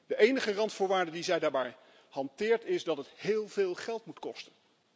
De enige randvoorwaarde die zij daarbij hanteert, is dat het heel veel geld moet kosten.